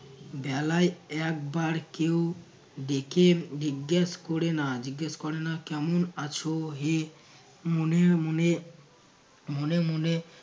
বেলায় একবার কেউ ডেকে জিজ্ঞেস করে না জিজ্ঞেস করে না কেমন আছো হে মনে মনে মনে মনে